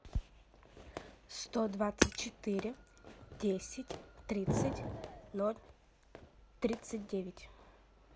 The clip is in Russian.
сто двадцать четыре десять тридцать ноль тридцать девять